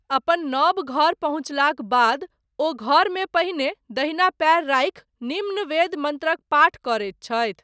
अपन नव घर पहुञ्चलाक बाद, ओ घरमे पहिने दहिना पयर राखि, निम्न वेद मन्त्रक पाठ करैत छथि।